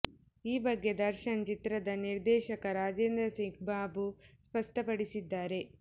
ಈ ಬಗ್ಗೆ ದರ್ಶನ್ ಚಿತ್ರದ ನಿರ್ದೇಶಕ ರಾಜೇಂದ್ರ ಸಿಂಗ್ ಬಾಬು ಸ್ಪಷ್ಟಪಡಿಸಿದ್ದಾರೆ